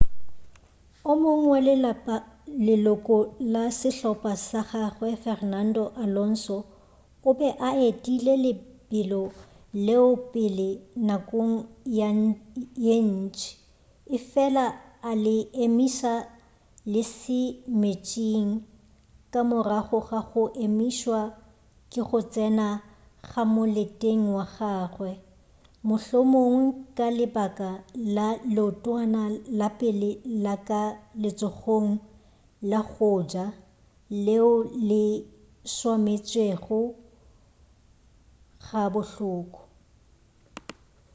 o mongwe wa leloko la sehlopa sa gagawe fernando alonso o be a etile lebelo leo pele nakong ye ntši efela a le emiša lesemeetseng ka morago ga go emišwa ke go tsena ka moleteng ga gagwe mohlomongwe ka lebaka la leotwana la pele la ka letsogong la go ja leo le swametšego ga bohloko